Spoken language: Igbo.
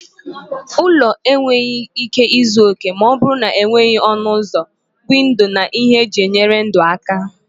Ụlọ enweghị ike izu oke ma ọ bụrụ na enweghị ọnụ ụzọ, windo na ihe eji enyere ndụ aka.